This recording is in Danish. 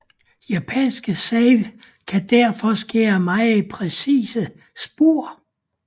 Japanske save kan derfor skære meget præcise spor